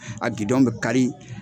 a be kari